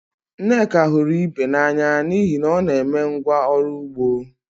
Nneka hụrụ Ibe n'anya n'ihi na ọ na-eme ngwá ọrụ ugbo